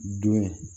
Don